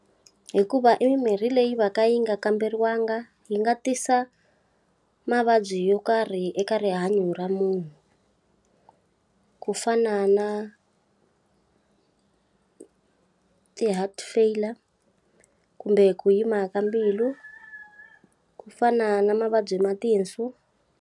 Hikuva i mimirhi leyi va ka yi nga kamberiwangi yi nga tisa mavabyi yo karhi eka rihanyo ra munhu. ku fana na ti-heart failure kumbe ku yima ka mbilu. Ku fana na mavabyi ma tinsu.